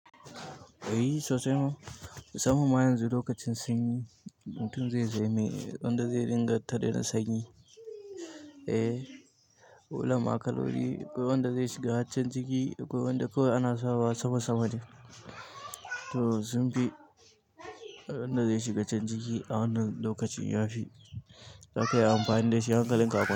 E, sosai ma. Samman ma yanzu lokacin sanyi, mutum zai saya me wanda zai ringa tare na sanyi. E, ulunma kaloli, akwai wanda zai shiga can ciki, akwai wanda kawai ana sawa sa wa sama sama ne to, sun fi, abunda zai shiga can ciki a wannan lokacin ya fi. Daka iya amfani da shi hankalin ka a kwance.